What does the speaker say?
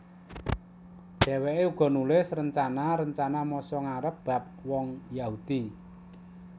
Dhèwèké uga nulis rencana rencana masa ngarep bab wong Yahudi